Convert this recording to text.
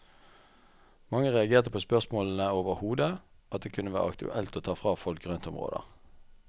Mange reagerte på spørsmålene overhodet, at det kunne være aktuelt å ta fra folk grøntområder.